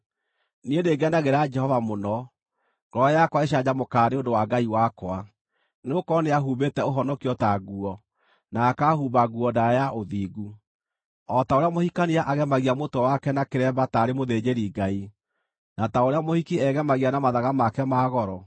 Niĩ nĩngenagĩra Jehova mũno; ngoro yakwa ĩcanjamũkaga nĩ ũndũ wa Ngai wakwa. Nĩgũkorwo nĩahumbĩte ũhonokio ta nguo, na akaahumba nguo ndaaya ya ũthingu, o ta ũrĩa mũhikania agemagia mũtwe wake na kĩremba taarĩ mũthĩnjĩri-Ngai, na ta ũrĩa mũhiki egemagia na mathaga make ma goro.